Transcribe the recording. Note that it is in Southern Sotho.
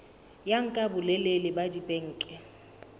ya nka bolelele ba dibeke